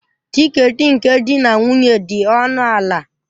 Tiketi nke di na nwunye dị ọnụ ala